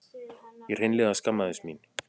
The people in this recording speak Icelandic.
Ég hreinlega skammaðist mín.